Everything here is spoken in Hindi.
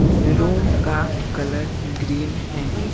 रूम का कलर ग्रीन है।